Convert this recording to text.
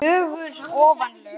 fögur ofan lög.